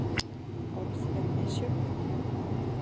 Orð eru misjöfn.